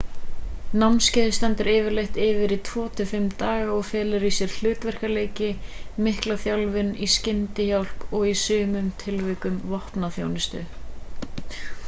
námskeiðið stendur yfirleitt yfir í 2-5 daga og felur í sér hlutverkaleiki mikla þjálfun í skyndihjálp og í sumum tilvikum vopnaþjálfun